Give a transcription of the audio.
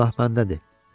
Günah məndədir.